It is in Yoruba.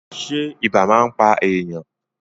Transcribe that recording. Ṣé ibà máa ń pà èèyàn?